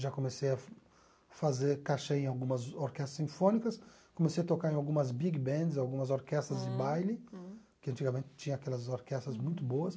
Já comecei a fazer, cachê em algumas orquestras sinfônicas, comecei a tocar em algumas big bands, algumas orquestras de baile, que antigamente tinha aquelas orquestras muito boas.